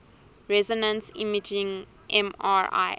resonance imaging mri